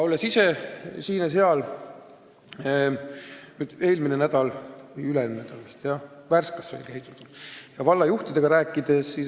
Olen ise käinud siin ja seal, üle-eelmine nädal sai näiteks Värskas käidud ja valla juhtidega räägitud.